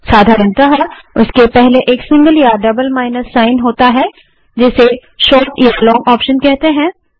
साधारणतः उनके पहले एक सिंगल या डबल माइनस चिन्ह होता है जिसे शोर्ट या लॉंग ऑप्शन कहते हैं